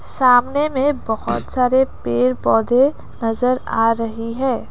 सामने में बहुत सारे पेड़ पौधे नजर आ रही हैं।